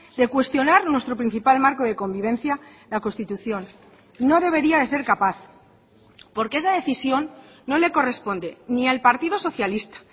de cuestionar nuestro principal marco de convivencia la constitución no debería de ser capaz porque esa decisión no le corresponde ni al partido socialista